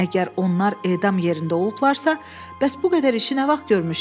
Əgər onlar edam yerində olublarsa, bəs bu qədər işi nə vaxt görmüşdülər?